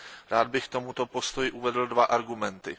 Rád bych k tomuto postoji uvedl dva argumenty.